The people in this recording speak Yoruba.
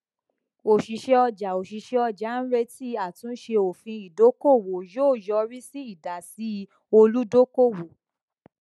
òṣìṣẹ ọjà òṣìṣẹ ọjà retí àtúnṣe òfin ìdókòwò yóò yọrí sí ìdásí olùdókòwò